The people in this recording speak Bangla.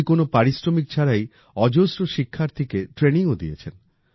উনি কোন পারিশ্রমিক ছাড়াই অজস্র শিক্ষার্থীকে ট্রেনিংও দিয়েছেন